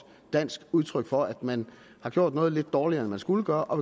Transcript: dansk udtryk for at man har gjort noget lidt dårligere end man skulle gøre og